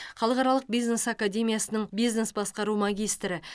халықаралық бизнес академиясының бизнес басқару магистрі